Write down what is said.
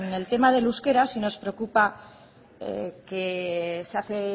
en el tema del euskera sí nos preocupa que se hace